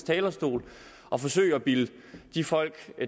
talerstol og forsøge at bilde de folk